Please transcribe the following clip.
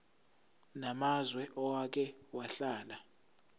namazwe owake wahlala